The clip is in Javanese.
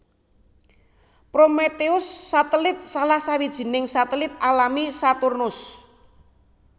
Prometheus satelit salah sawijining satelit alami Saturnus